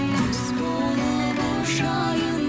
құс болып ұшайын